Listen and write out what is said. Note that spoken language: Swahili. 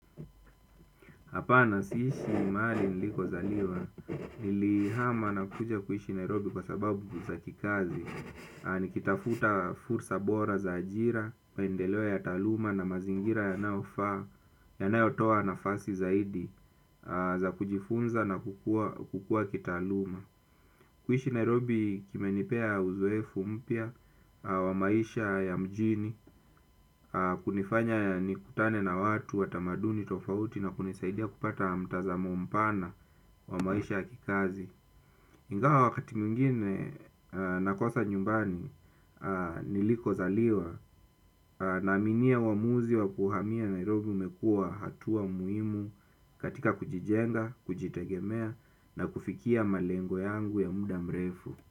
Hapana siishi mahali nilikozaliwa, nilihama na kuja kuishi Nairobi kwa sababu za kikazi, nikitafuta fursa bora za ajira, maendeleo ya taaluma na mazingira yanayofaa, yanayotoa nafasi zaidi za kujifunza na kukua kitaaluma. Kuishi Nairobi kimenipea uzoefu mpya wa maisha ya mjini kunifanya nikutane na watu wa tamaduni tofauti na kunisaidia kupata mtazamo mpana wa maisha ya kikazi. Ingawa wakati mwingine nakosa nyumbani nilikozaliwa naaminia uamuzi wa kuhamia Nairobi umekua hatua muhimu katika kujijenga, kujitegemea na kufikia malengo yangu ya muda mrefu.